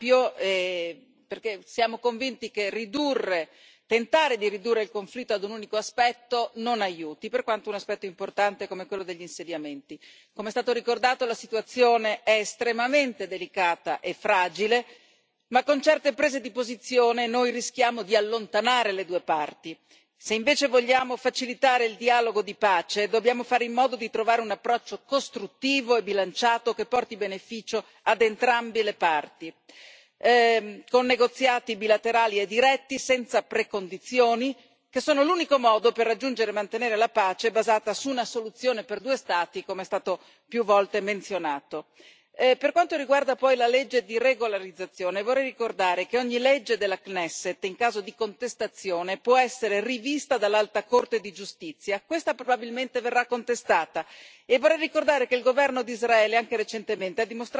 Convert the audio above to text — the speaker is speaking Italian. Signor Presidente, onorevoli colleghi, come abbiamo già ricordato, noi come gruppo avremmo preferito il titolo originale della discussione, che era molto più ampio, perché siamo convinti che tentare di ridurre il conflitto ad un unico aspetto non aiuti, per quanto sia un aspetto importante come quello degli insediamenti. Come è stato ricordato, la situazione è estremamente delicata e fragile, ma con certe prese di posizione noi rischiamo di allontanare le due parti. Se invece vogliamo facilitare il dialogo di pace, dobbiamo fare in modo di trovare un approccio costruttivo e bilanciato che porti beneficio ad entrambe le parti, con negoziati bilaterali e diretti senza precondizioni, che sono l'unico modo per raggiungere e mantenere la pace basata su una soluzione per due Stati, come è stato più volte menzionato. Per quanto riguarda poi la legge di regolarizzazione, vorrei ricordare che ogni legge della Knesset, in caso di contestazione, può essere rivista dall'Alta Corte di giustizia e questa probabilmente verrà contestata.